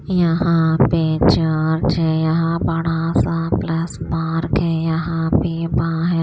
यहां पे चार्ज है यहां बड़ा सा प्लस मार्क है यहां पे बाह --